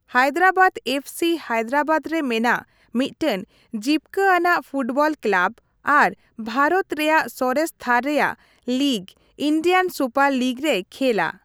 Hyderabad FC Hyderabad ᱨᱮ ᱢᱮᱱᱟᱜ ᱢᱤᱫᱴᱟᱝ ᱡᱤᱯᱠᱤᱟᱱᱟᱜ ᱯᱷᱩᱴᱵᱚᱞ ᱠᱮᱞᱟᱵ ᱟᱨ ᱵᱷᱟᱨᱚᱛ ᱨᱮᱭᱟᱜ ᱥᱚᱨᱮᱥᱼᱛᱷᱟᱨ ᱨᱮᱭᱟᱜ ᱞᱤᱜ, ᱤᱱᱰᱤᱭᱟᱱ ᱥᱩᱯᱟᱨ ᱞᱤᱜ ᱨᱮᱭ ᱠᱷᱮᱞᱟ ᱾